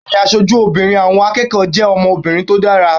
Bẹ́ẹ̀ni, aṣojú obìnrin àwọn akẹ́kọ̀ọ́ jẹ́ ọmọbìnrin tó dára